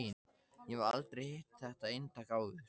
Ég hef aldrei hitt þetta eintak fyrr.